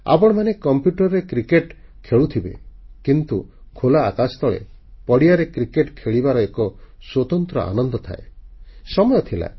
ଆପଣମାନେ କମ୍ପ୍ୟୁଟରରେ କ୍ରିକେଟ ଖେଳୁଥିବେ କିନ୍ତୁ ଖୋଲା ଆକାଶ ତଳେ ପଡ଼ିଆରେ କ୍ରିକେଟ୍ ଖେଳିବାରେ ଭିନ୍ନ ଏକ ଆନନ୍ଦ ଥାଏ ତାହା ସ୍ୱତନ୍ତ୍ର ଓ ନିଆରା